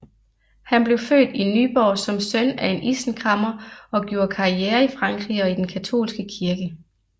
Han blev født i Nyborg som søn af en isenkræmmer og gjorde karriere i Frankrig og i den katolske kirke